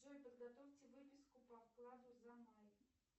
джой подготовьте выписку по вкладу за май